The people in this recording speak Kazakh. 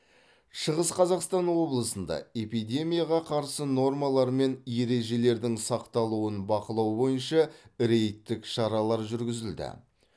шығыс қазақстан облысында эпидемияға қарсы нормалар мен ережелердің сақталуын бақылау бойынша рейдтік шаралар жүргізілді